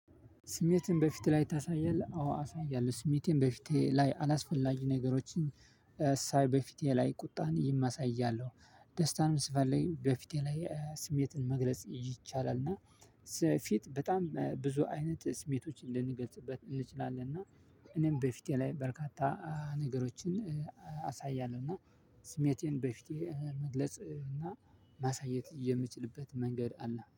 ስሜትህን በፊትህ ላይ ታሳያለህ? አዎ አሳያለሁ ስሜቴን በፊቴ ላይ አላስፈላጊ ነገሮችን ሳይ በፊቴ ላይ ቁጣን አሳያለሁ። ደስታንም ስፈለግ በፊቴ ላይ ስሜትን መግለጽ ይቻላል እና ስለፊት በጣም ብዙ አይነት ስሜቶችን ልንገልጽበት እንችላለን። እና እኔም በፊቴ ላይ በርካታ ነገሮችን አሳያለሁ። እና ስሜቴን በፊቴ መግለጽ እና ማሳየት የምችልበት መንገድ አለ